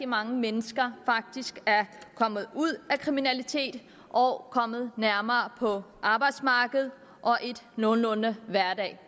mange mennesker faktisk er kommet ud af kriminalitet og kommet nærmere på arbejdsmarkedet og en nogenlunde hverdag